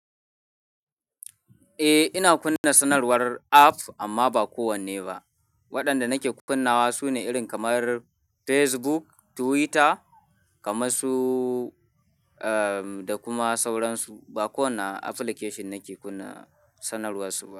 Eh, ina kunna sanarwar app amma ba kowanne ba. Waɗanda nake kunnawa su ne irin kamar Facebook, Twitter kamar su, eh, da kuma sauransu. Ba kowane application nake kunna sanarwar su ba.